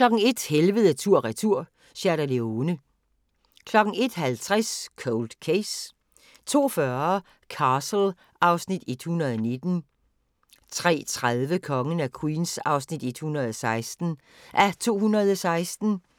01:00: Helvede tur/retur – Sierra Leone 01:50: Cold Case 02:40: Castle (Afs. 119) 03:30: Kongen af Queens (116:216)